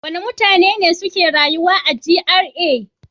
Wane mutane ne suke rayuwa a GRA?